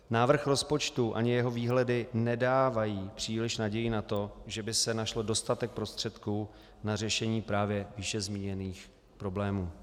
Návrh rozpočtu ani jeho výhledy nedávají příliš naději na to, že by se našel dostatek prostředků na řešení právě výše zmíněných problémů.